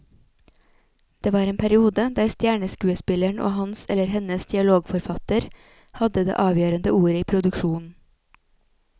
Det var en periode der stjerneskuespilleren og hans eller hennes dialogforfatter hadde det avgjørende ordet i produksjonen.